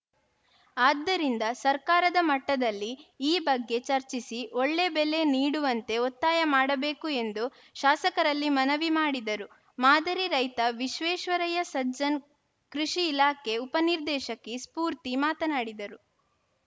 ಆದ್ದರಿಂದ ಸರ್ಕಾರದ ಮಟ್ಟದಲ್ಲಿ ಈ ಬಗ್ಗೆ ಚರ್ಚಿಸಿ ಒಳ್ಳೆ ಬೆಲೆ ನೀಡುವಂತೆ ಒತ್ತಾಯ ಮಾಡಬೇಕು ಎಂದು ಶಾಸಕರಲ್ಲಿ ಮನವಿ ಮಾಡಿದರು ಮಾದರಿ ರೈತ ವಿಶ್ವೇಶ್ವರಯ್ಯ ಸಜ್ಜನ್‌ ಕೃಷಿ ಇಲಾಖೆ ಉಪ ನಿರ್ದೇಶಕಿ ಸ್ಫೂರ್ತಿ ಮಾತನಾಡಿದರು